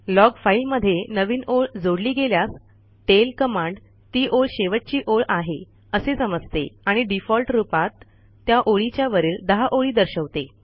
log फाईलमध्ये नवीन ओळ जोडली गेल्यास टेल कमांड ती ओळ शेवटची ओळ आहे असे समजते आणि डिफॉल्ट रूपात त्या ओळीच्या वरील १० ओळी दर्शवते